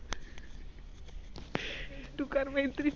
तू कर मैत्री .